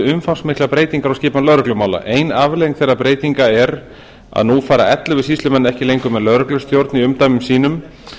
umfangsmiklar breytingar á skipan lögreglumála ein afleiðing þeirra breytinga er að nú fara ellefu sýslumenn ekki lengur með lögreglustjórn í umdæmum sínum